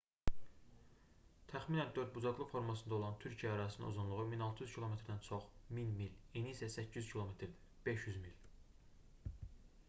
təxminən dördbucaqlı formasında olan türkiyə ərazisinin uzunluğu 1600 km-dən çox 1000 mil eni isə 800 km-dir 500 mil